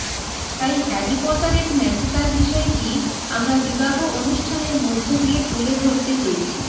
তাই হ্যারি পটারের ম্যাজিকাল বিষয়টি আমরা বিবাহ অনুষ্ঠানের মধ্য দিয়ে তুলে ধরতে চেয়েছি